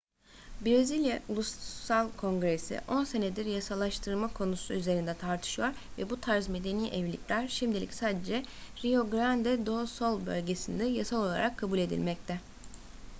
brezilya ulusal kongresi 10 senedir yasallaştırma konusu üzerinde tartışıyor ve bu tarz medeni evlilikler şimdilik sadece rio grande do sul bölgesinde yasal olarak kabul edilmekte